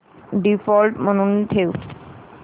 default म्हणून ठेव